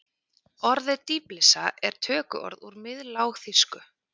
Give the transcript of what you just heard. Orðið dýflissa er tökuorð úr miðlágþýsku.